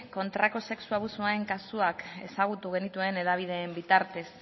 kontrako sexu abusuen kasuak ezagutu genituen hedabideen bitartez